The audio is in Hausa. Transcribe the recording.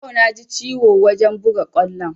Yau na ji ciwo wajen buga kwallon